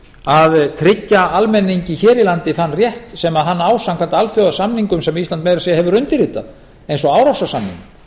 að tryggja almenningi hér í landi þann rétt sem hann á samkvæmt alþjóðasamningum sem ísland meira að segja hefur undirritað eins og árósasamningnum